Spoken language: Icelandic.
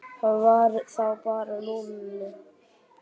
Það var þá bara Lúlli.